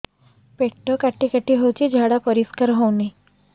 ପେଟ କାଟି କାଟି ହଉଚି ଝାଡା ପରିସ୍କାର ହଉନି